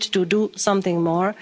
We need to do something